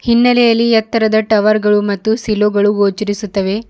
ಹಿನ್ನೆಲೆಯಲ್ಲಿ ಎತ್ತರದ ಟವರ್ ಗಳು ಮತ್ತು ಸಿಲೊಗಳು ಗೊಚರಿಸುತ್ತವೆ.